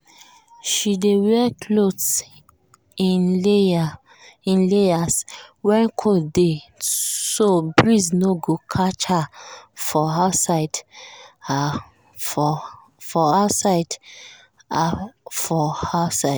she dey wear cloth in layers when cold dey so breeze no go catch her for outside. her for outside.